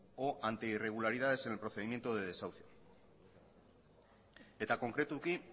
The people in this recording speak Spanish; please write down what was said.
o anti irregularidades en el procedimiento de desahucio eta konkretuki